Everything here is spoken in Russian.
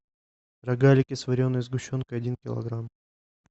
рогалики с вареной сгущенкой один килограмм